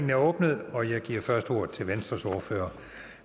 er åbnet og jeg giver først ordet til venstres ordfører